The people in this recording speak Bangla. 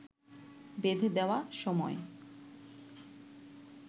বেঁধে দেওয়া সময়